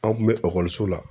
An kun mɛ ekɔliso la